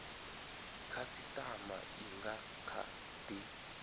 khasitama i nga kha di